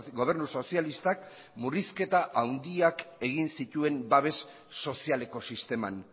gobernu sozialistak murrizketa handiak egin zituen babes sozialeko sisteman